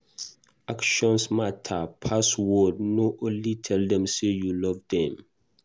Actions matter pass word, no only tell them sey you love them